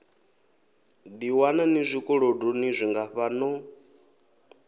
ḓiwana ni zwikolodoni zwingafha no